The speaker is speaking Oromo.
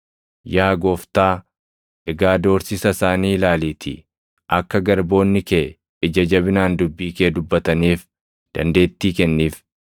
Yaa Gooftaa, egaa doorsisa isaanii ilaaliitii akka garboonni kee ija jabinaan dubbii kee dubbataniif dandeettii kenniif.